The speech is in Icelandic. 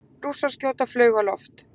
Rússar skjóta flaug á loft